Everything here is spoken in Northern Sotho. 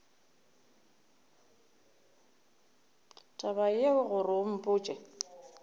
taba yeo gore o mpotše